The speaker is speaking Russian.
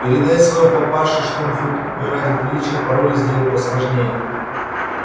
передай своему папаше что он хоть бы ради приличия пароль сделал посложнее